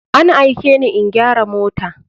An aikeni in gyara mota.